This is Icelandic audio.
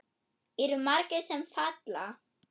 Eru margir sem falla?